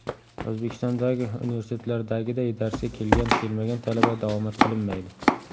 O‘zbekistondagi universitetlardagiday darsga kelgan, kelmagan talaba davomat qilinmaydi.